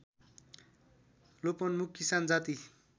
लोपोन्मुख किसान जाति